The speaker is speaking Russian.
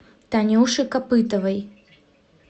танюше копытовой